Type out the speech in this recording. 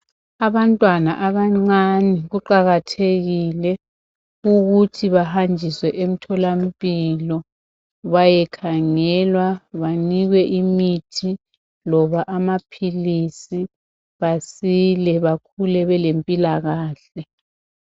Abantwana abancane kuqakathekile ukuthi bahanjiswe emtholampilo bayekhangelwa banikwe imithi loba amaphilisi basile bakhule belempilakahle.